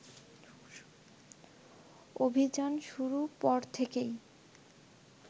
অভিযান শুরু পর থেকেই